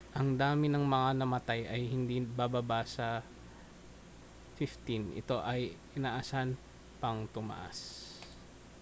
ang dami ng mga namatay ay hindi bababa sa 15 ito ay inaasahan pang tumaas